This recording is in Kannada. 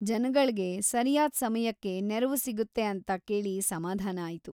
ಜನಗಳ್ಗೆ ಸರ್ಯಾದ್ ಸಮಯಕ್ಕೆ ನೆರವು ಸಿಗುತ್ತೆ ಅಂತ ಕೇಳಿ ಸಮಾಧಾನ ಆಯ್ತು.